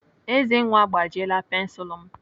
Ezenwa agbajiela pensilu m.